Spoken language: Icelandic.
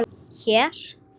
Hér?